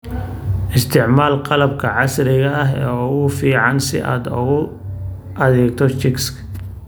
Isticmaal qalabka casriga ah ee ugu fiican si aad ugu adeegto chicks.